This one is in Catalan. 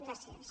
gràcies